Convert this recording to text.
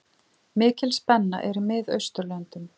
Mikil spenna er í Miðausturlöndum.